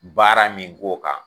Baara min k'o kan.